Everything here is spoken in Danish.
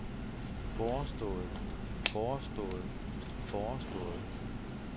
forestået forestået forestået